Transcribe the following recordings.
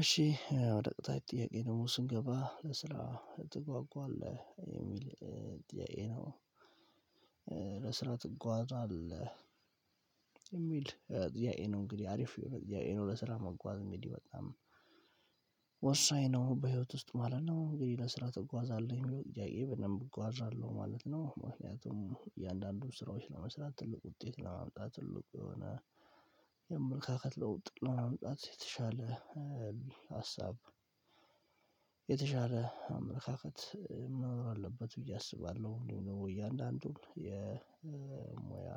እሺ ወደ ቀጣይ ጥያቄ ደግሞ ስንገባ ለስራ ትጓጓለህ የሚል ነው። ለስራ ትጓዛለህ የሚል ይሄ ነው እንግዲህ አሪፍ ይሄ ነው። ለስራ መጓዝ እንግዲህ በጣም ወሳኝ ነው በህይወት ውስጥ ማለት ነው። እንግዲህ ለስራ ትጓዛለህ የሚለው ጥያቄ በደንብ እጓዛለሁ ማለት ነው። ምክንያቱም እያንዳንዱ ስራዎች ለመስራት ትልቅ ውጤት ለማምጣት ትልቅ የሆነ የአመለካከት ለውጥ ለማምጣት የተሻለ ሀሳብ የተሻለ አመለካከት መኖር አለበት ብዬ አስባለሁ። እንዲሁም ደግሞ እያንዳንዱን የሙያ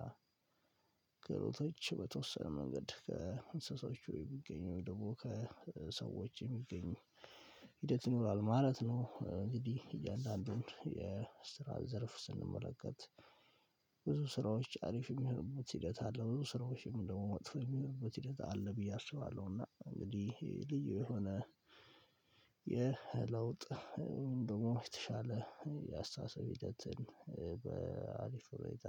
ክህሎቶች በተወሰነ መንገድ ከእንስሳዎቹ ቢገኙ ደግሞ ከሰዎች የሚገኙ ሂደት ይኖራል ማለት ነው። እንግዲህ እያንዳንዱን የስራ ዘርፍ ስንመለከት ብዙ ስራዎች አሪፍ የሚሆኑበት ሂደት አለ ብዙ ስራዎችም ደግሞ መጥፎ የሚሆኑበት ሂደት አለ ብዬ አስባለሁ። እና እንግዲህ ልዩ የሆነ የለውጥ ደግሞ የተሻለ የአስተሳሰብ ሂደትን በአሪፍ ሁኔታ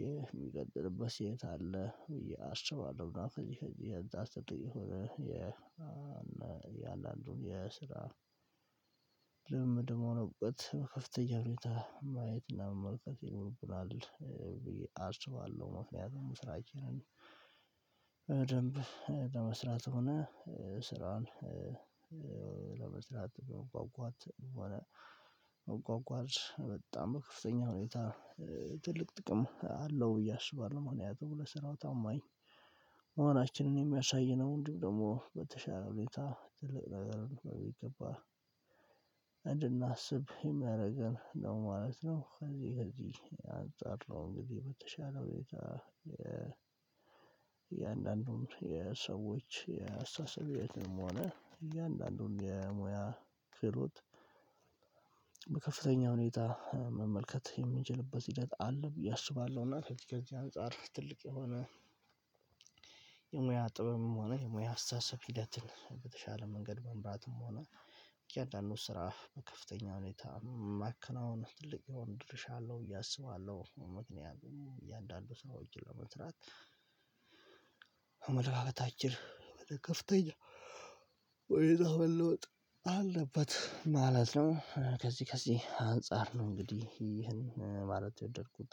ይሄ የሚቀጥልበት ሴት አለ ብዬ አስባለሁ። እና ከዚህ ከዚህ አንፃር ስትል የሆነ የ እና የአንዳንዱን የስራ ልምድም መሆን እውቀት በከፍተኛ ሁኔታ ማየትና መመልከት ይኖርብናል ብዬ አስባለሁ። ምክንያቱም ስራችንን በደንብ ለመስራትም ሆነ ስራን ለመስራት በመጓጓትም ሆነ ቋንቋ በጣም በከፍተኛ ሁኔታ ትልቅ ጥቅም አለው ብዬ አስባለሁ። ማክንያቱም ለስራው ታማኝ መሆናችንን የሚያሳይ ነው እንዲሁም ደግሞ በተሻለ ሁኔታ ትልቅ ነገር በሚገባ እንድናስብ የሚያደርገን ነው ማለት ነው። ከዚህ ከዚህ አንፃር ነው እንግዲህ በተሻለ ሁኔታ የእያንዳንዱን የሰዎች አስተሳሰብም ሆነ እያንዳንዱን የሙያ ክህሎት በከፍተኛ ሁኔታ መመልከት የምንችልበት ሂደት አለ ብዬ አስባለሁ። እና ከዚህ ከዚህ አንፃር ትልቅ የሆነ የሙያ ጥበብም ሆነ የሙያ አስተሳሰብ ሂደትን በተሻለ መንገድ መምራትም ሆነ እያንዳንዱን ስራ በከፍተኛ ሁኔታ ማከናውን ትልቅ የሆነ ድርሻ አለው ብዬ አስባለሁ። ምክንያቱም እያንዳንዱ ሰው እጅግ ለመስራት አመለካከታችን ወደ ከፍተኛ ወደዛ መለወጥ አለበት ማለት ነው። ከዚህ ከዚህ አንፃር ነው እንግዲህ ይህን ማለት የወደድኩት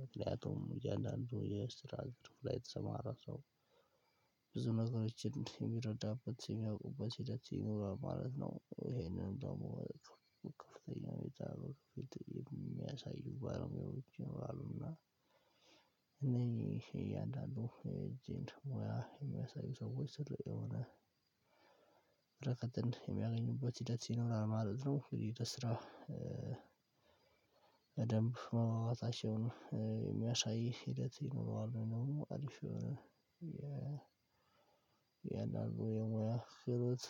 ምክንያቱም እያንዳንዱ የስራ ዘርፍ ላይ የተሰማራ ሰው ብዙ ነገሮችን የሚረዳበት የሚያውቁበት ሂደት ይኖራል ማለት ነው። ይሄንን ደግሞ በከፍተኛ ሁኔታ የሚያሳዩ ባለሙያዎች ይኖራሉና እያንዳንዱ የእጁን ሙያ የሚያሳዩ ሰዎች ትልቅ የሆነ በረከትን የሚያገኙበት ሂደት ይኖራል ማለት ነው። እንግዲህ በስራ በደንብ መግባባታቸውን የሚያሳይ ሂደት ይኖረዋል ወይም ደግሞ አሪፍ የሆነ የእያንዳንዱ የሙያ ክህሎት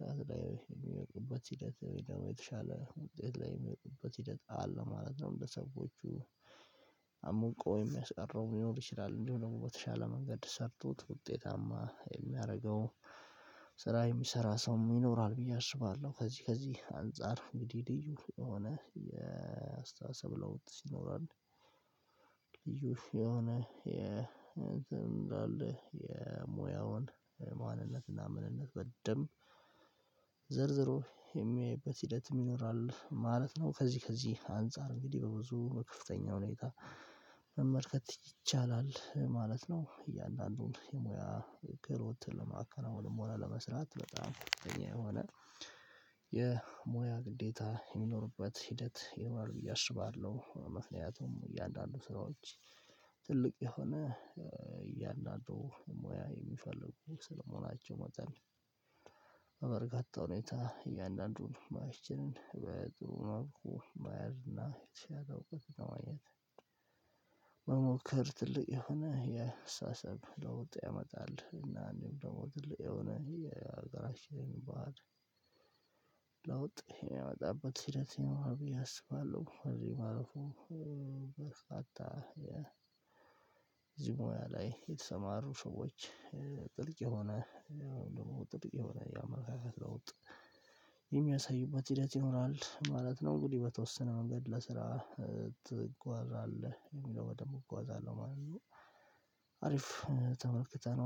ብቃት ላይ የሚያውቅበት ሂደት ወይም ደግሞ የተሻለ ውጤት ላይ የሚመጡበት ሂደት አለ ማለት ነው። እንደ ሰዎቹ አምቆ ወይም የሚያስቀረው ሊኖር ይችላል እንዲሁም ደግሞ በተሻለ መንገድ ሰርቶት ውጤታማ የሚያደርገው ስራ የሚሰራ ሰው ይኖራል ብዬ አስባለሁ። ከዚህ ከዚህ አንፃር እንግዲህ ልዩ የሆነ የአስተሳሰብ ለውጥ ይኖራል። ልዩ የሆነ የሙያውን ማንነትና ምንነት በደንብ ዘርዝሮ የሚያይበት ሂደትም ይኖራል ማለት ነው። ከዚህ ከዚህ አንፃር እንግዲህ በብዙ በከፍተኛ ሁኔታ መመልከት ይቻላል ማለት ነው። እያንዳንዱን የሙያ ክህሎት ለማከናወንም ሆነ ለመስራት በጣም ከፍተኛ የሆነ የሙያ ግዴታ የሚኖርበት ሂደት ይኖራል ብዬ አስባለሁ። ምክንያቱም እያንዳንዱ ስራዎች ትልቅ የሆነ እያንዳንዱ ሙያ የሚፈልጉ ስለመሆናቸው መጠን በበርካታ ሁኔታ እያንዳንዱን ሙያችንን በጥሩ መልኩ መያዝና የተሻለ እውቀት ለማግኘት መሞከር ትልቅ የሆነ የአስተሳሰብ ለውጥ ያመጣል። እና አንድም ደግሞ ትልቅ የሆነ የሀገራችን ባህል ላይ ለውጥ የሚያመጣበት ሂደት ይኖረዋል ብዬ አስባለሁ። እዚህ ማለትም በሳታ የዚህ ሙያ ላይ የተሰማሩ ሰዎች ጥልቅ የሆነ ደግሞ ጥልቅ የሆነ የአመለካከት ለውጥ የሚያሳዩበት ሂደት ይኖራል ማለት ነው። እንግዲህ በተወሰነ መንገድ ለስራ ትጓዛለህ የሚለው በደንብ እጓዛለሁ ማለት ነው አሪፍ ተመልክተነዋል